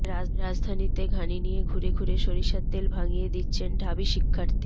রাজধানীতে ঘানি নিয়ে ঘুরে ঘুরে সরিষার তেল ভাঙিয়ে দিচ্ছেন ঢাবি শিক্ষার্থী